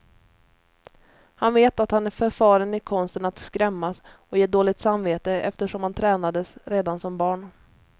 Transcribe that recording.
Han vet att han är förfaren i konsten att skrämmas och ge dåligt samvete, eftersom han tränades redan som barn.